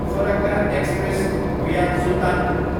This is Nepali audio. Farakka express, via Sultanpur